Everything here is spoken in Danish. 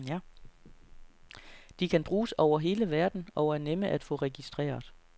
De kan bruges over hele verden og er nemme at få registreret.